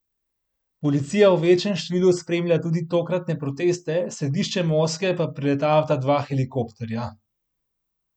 Policija v večjem številu spremlja tudi tokratne proteste, središče Moskve pa preletavata dva helikopterja.